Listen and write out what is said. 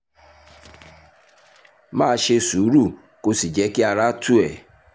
máa ṣe sùúrù kó o sì jẹ́ kí ara tù ẹ́